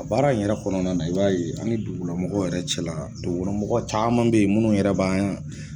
A baara in yɛrɛ kɔnɔna na i b'a ye ani dugulamɔgɔw yɛrɛ cɛ la, dugulamɔgɔ caman bɛ yen minnu yɛrɛ b'an